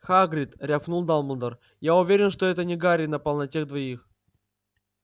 хагрид рявкнул дамблдор я уверен что это не гарри напал на тех двоих